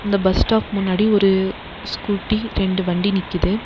இந்த bus stop முன்னாடி ஒரு ஸ்கூட்டி ரெண்டு வண்டி நிக்கிது.